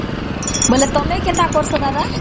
ବୋଇଲେ ତମେ କେନ୍ତା କରସନ ଦାଦା ?